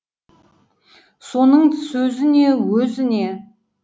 соның сөзі не өзі не